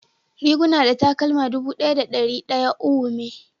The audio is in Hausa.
Riguna da takalma dubu daya da dari daya uwu me.